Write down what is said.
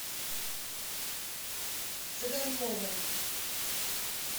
цыганковой